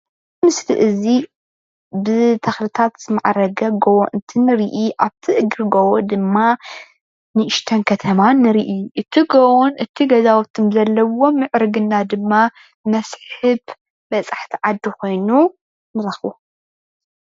ዝምስሊ እዚ ብተክልታት ዝማዕረገ ጎቦ እንትንሪኢ ኣብቲ እግሪ ጎቦ ድማ ንእሽተን ከተማ ንሪኢ. እቲ ጎቦን እቲ ገዛን ዘለዎ ምዕርግና ድማ መስሕብ በፃሕቲ ዓዲ ኮይኑ ንረክቦ::